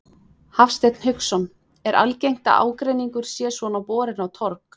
Hafsteinn Hauksson: Er algengt að ágreiningur sé svona borinn á torg?